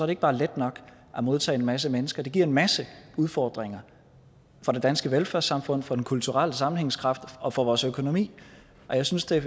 ikke bare er let nok at modtage en masse mennesker det giver en masse udfordringer for det danske velfærdssamfund for den kulturelle sammenhængskraft og for vores økonomi jeg synes at